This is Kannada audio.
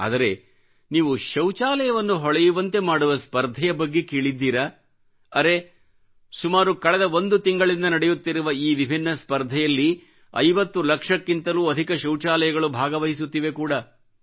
ಆದರೆ ನೀವು ಶೌಚಾಲಯವನ್ನು ಹೊಳೆಯುವಂತೆ ಮಾಡುವ ಸ್ಪರ್ಧೆಯ ಬಗ್ಗೆ ಕೇಳಿದ್ದೀರಾ ಅರೇ ಸುಮಾರು ಕಳೆದ ಒಂದು ತಿಂಗಳಿಂದ ನಡೆಯುತ್ತಿರುವ ಈ ವಿಭಿನ್ನ ಸ್ಪರ್ಧೆಯಲ್ಲಿ 50 ಲಕ್ಷಕ್ಕಿಂತಲೂ ಅಧಿಕ ಶೌಚಾಲಯಗಳು ಭಾಗವಹಿಸುತ್ತಿವೆ ಕೂಡ